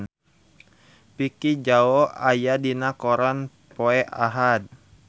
Vicki Zao aya dina koran poe Ahad